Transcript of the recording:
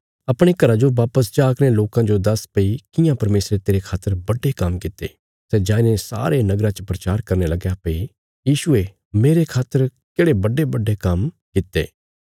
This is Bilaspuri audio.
अपणे घरा जो बापस जा कने लोकां जो दस्स भई कियां परमेशरे तेरे खातर बड्डे काम्म कित्ते सै जाईने सारे नगरा च प्रचार करने लगया भई यीशुये मेरे खातर केढ़े बड्डेबड्डे काम्म कित्ते